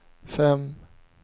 fem